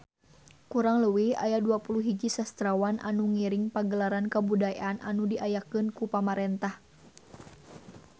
Kurang leuwih aya 21 sastrawan anu ngiring Pagelaran Kabudayaan anu diayakeun ku pamarentah